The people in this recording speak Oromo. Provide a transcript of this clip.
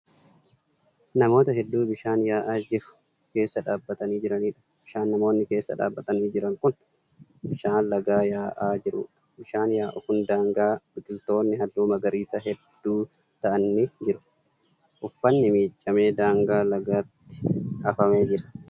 Namoota hedduu bishaan yaa'u keessa dhaabatanii jiraniidha. bishaan namoonni keessa dhaabatanii Jiran Kuni bishaan lagaa yaa'aa jiruudha. bishaan yaa'u Kan daangaa biqiltoonni halluu magariisaa hedduu ta'an ni jiru. uffanni miiccamee daangaa lagaatti afamee Jira